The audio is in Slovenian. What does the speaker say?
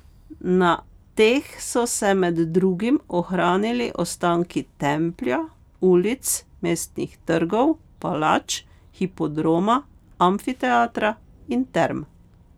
Na teh so se med drugim ohranili ostanki templja, ulic, mestnih trgov, palač, hipodroma, amfiteatra in term.